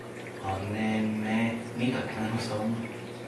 A, ne, ne, ni tako enostavno!